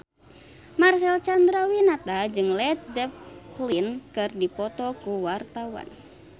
Marcel Chandrawinata jeung Led Zeppelin keur dipoto ku wartawan